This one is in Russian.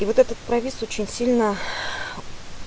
и вот этот провис очень сильно